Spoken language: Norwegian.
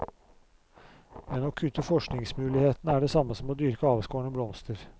Men å kutte forskningsmulighetene er det samme som å dyrke avskårne blomster.